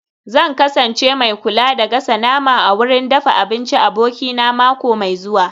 Zan kasance mai kula da gasa nama a wurin dafa abinci abokina mako mai zuwa